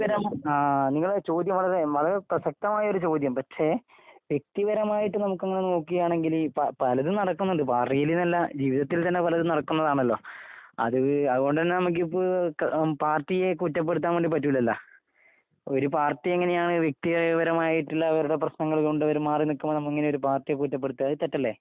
നിങ്ങളുടെ ചോദ്യം വളരെ പ്രസക്തമായ ഒരു ചോദ്യം പക്ഷെ വെക്തിപരമായിട്ട് നമ്മൾ അങ്ങനെ നോക്കുകയാണെങ്കിൽ പലതും നടക്കുന്നുണ്ട് ജീവിതത്തതിൽ തന്നെ പലതും നടക്കുന്നതാണല്ലോ അതുകൊണ്ട് തന്നെ നമ്മക്ക് ഇപ്പൊ പാർട്ടിയെ കുറ്റപ്പെടുത്താൻ വേണ്ടി പറ്റില്ലല്ലോ ഒരു പാർട്ടി എങ്ങനെയാണ് വെക്തിപരമായിട്ടുള്ള അവരുടെ പ്രശ്നങ്ങൾ കൊണ്ട് അവര് മാറിനിൽക്കുന്നത് അങ്ങനെ ഒരു പാർട്ടിയെ കുട്ടിപ്പടുത്തുക അത് തെറ്റല്ലേ